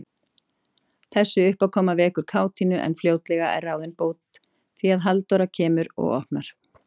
Þessi uppákoma vekur kátínu, en fljótlega er ráðin bót, því að Halldóra kemur og opnar.